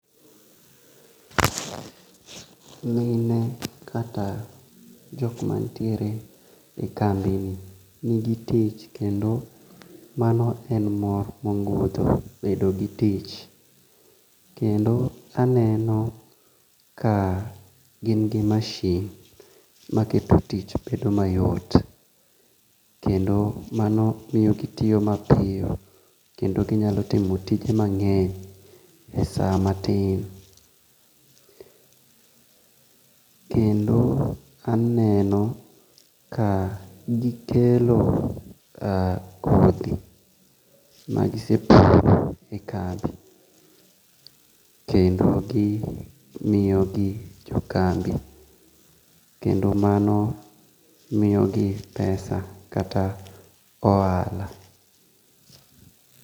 Nge'nyne kata jok manitiere e kambini nigi tich kendo mano en mor moguntho bedo gi tich kendo aneno ka gin gi machine maketo tich bedo mayom kendo mano miyogi tiyo mapiyo, kendo ginyalo timo tije mange'ny e sama tin kendo aneno ka gikelo kothi ma gisepuro e kambi, kendo gi miyogi jo kambi kendo mano miyogi pesa kata mana ohala.